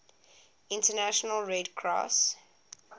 international red cross